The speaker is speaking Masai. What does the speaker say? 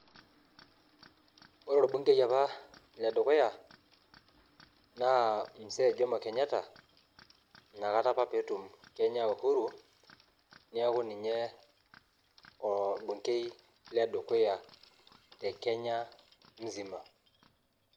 Ore orbungei apa ledukuya mzee jomo Kenyatta inakata apa peetum Kenya Uhuru niaku ninye orbungei ledukuya te kenya mzima.